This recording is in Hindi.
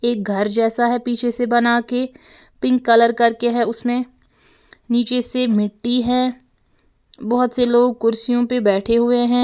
एक घर जैसा है पीछे से बना के पिंक कलर करके है उसमें नीचे से मिट्टी है बहुत से लोग कुर्सियों पर बैठे हुए हैं।